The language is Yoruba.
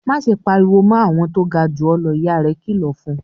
"Má ṣe pariwo mọ́ àwọn tó ga jù ọ́ lọ!" Ìyá rẹ̀ kìlọ̀ fún un.